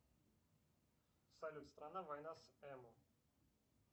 салют страна война с эмо